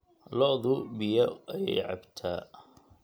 Lodu biyo ayey cabta.